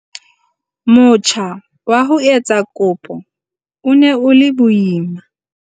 "Motjha wa ho etsa kopo o ne o le boima."